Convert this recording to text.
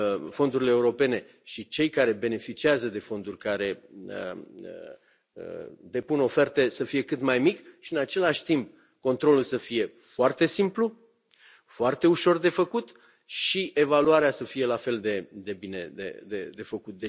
fondurile europene și cei care beneficiază de fonduri, care depun oferte, să fie cât mai mic și, în același timp, controlul să fie foarte simplu, foarte ușor de făcut și evaluarea să fie la fel de bine de făcut.